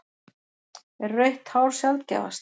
Er rautt hár sjaldgæfast?